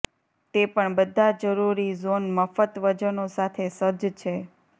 તે પણ બધા જરૂરી ઝોન મફત વજનો સાથે સજ્જ છે